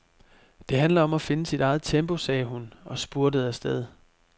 Det handler om at finde sit eget tempo, sagde hun og spurtede afsted.